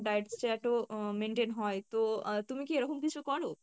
diet chart ও আহ maintain হয়, তো আহ তুমি কি এরকম কিছু করো?